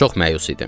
Çox məyus idim.